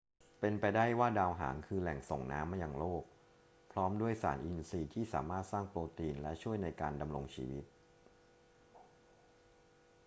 เป็นไปได้ว่าดาวหางคือแหล่งส่งน้ำมายังโลก พร้อมด้วยสารอินทรีย์ที่สามารถสร้างโปรตีนและช่วยในการดำรงชีวิต